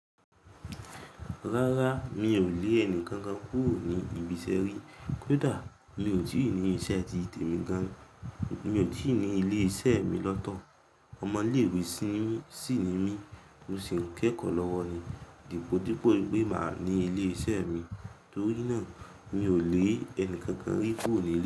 Rárá, mi ò lé ẹni kankan kúrò ní ibiṣẹ́ rí. Kódà mi ò tí ì ní iṣẹ́ ti tèmi gan, mi ò tí ì ní ilé iṣẹ́ mi lọ́tọ̀. Ọmọ ilé ìwé sí ni mi mó sì ń kẹ́kọ̀ọ́ lọ́wọ́ mi. Dípò dípò wípé máa ní ilé iṣẹ́ mi, torí náà mi ò lé ẹni kankan rí kúrò nílé.